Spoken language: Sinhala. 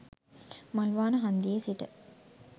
මල්වාන හන්දියේ සිට